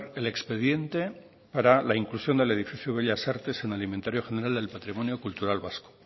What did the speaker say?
el expediente para la inclusión del edificio bellas artes en el inventario general del patrimonio cultural vasco